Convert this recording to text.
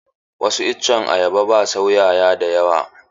Wasu itacen ayaba ba sua 'ya'ya da yawa.